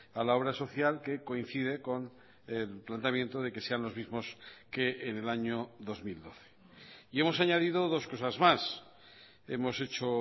a la obra social que coincide con el planteamiento de que sean los mismos que en el año dos mil doce y hemos añadido dos cosas más hemos hecho